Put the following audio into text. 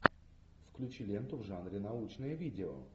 включи ленту в жанре научное видео